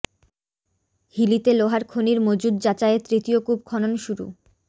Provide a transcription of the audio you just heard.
হিলিতে লোহার খনির মজুদ যাচাইয়ে তৃতীয় কূপ খনন শুরু